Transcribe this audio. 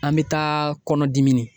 An bɛ taa KƆNƆDIMINI.